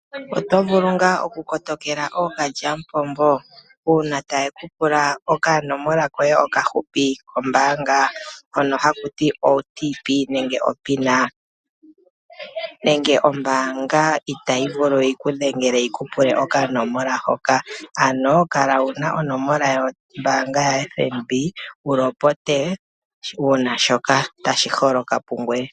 Otovulu ngaa okukotokela ookalyamupombo? Uuna tayekupula okanomola koye okahupi kombaanga hoka hakutiwa o OTP/PIN ? Ombaanga itayivulu okukudhengela tayi kupula okanomola hoka. Kala una onomomola yombaanga wu ya tseyithile uuna shoka tashiholoka pungoye.